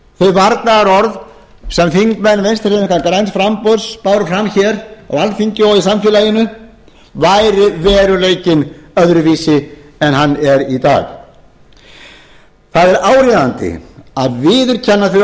varnaðarorð sem þingmenn vinstri hreyfingarinnar græns framboðs báru fram hér á alþingi og í samfélaginu væri veruleikinn öðruvísi en hann er í dag það er áríðandi að viðurkenna þau